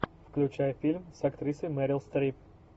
включай фильм с актрисой мерил стрип